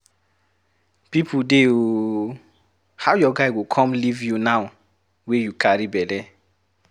People dey ooo! How your guy go come leave you now wey you carry bele.